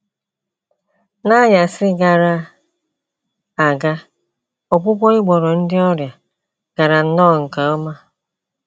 N’anyasị gara aga ọgwụgwọ ị gwọrọ ndị ọrịa gara nnọọ nke ọma.